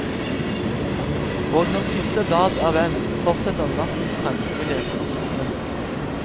Og når siste blad er vendt, fortsetter nattens tanker i leserens hode.